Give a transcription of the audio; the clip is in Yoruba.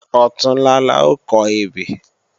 Ọ̀túnla la ó kọ ebè